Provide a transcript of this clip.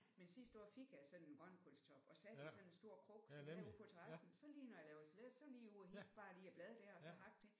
Men sidste år fik jeg sådan en grønkålstop og satte i sådan stor krukke og så derude på terrassen så lige når jeg laver salat så er jeg lige ude og hente bare lige et blad der og så hakke det